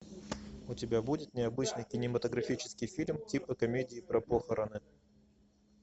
у тебя будет необычный кинематографический фильм типа комедии про похороны